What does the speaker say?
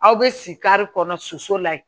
Aw bɛ si kari kɔnɔ soso la yen